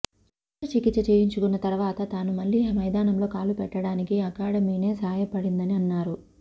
cancer చికిత్స చేయించుకున్నతర్వాత తాను మళ్లీ మైదానంలో కాలుపెట్టడానికి అకాడమీనే సాయపడిందని అన్నారు